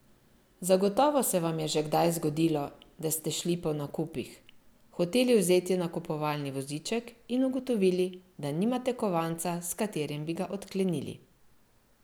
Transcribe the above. Zagotovo se vam je že kdaj zgodilo, da se šli po nakupih, hoteli vzeti nakupovalni voziček in ugotovili, da nimate kovanca, s katerim bi ga odklenili.